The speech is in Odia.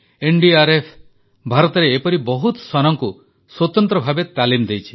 ଏନଡିଆରଏଫ ଭାରତରେ ଏପରି ବହୁତ ଶ୍ୱାନଙ୍କୁ ସ୍ୱତନ୍ତ୍ର ଭାବେ ତାଲିମ ଦେଇଛି